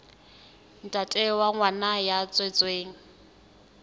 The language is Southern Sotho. ntate wa ngwana ya tswetsweng